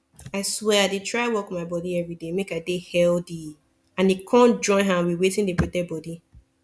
i swear i dey try work my body everyday make i dey healthy and e come join hand with wetin dey protect bodi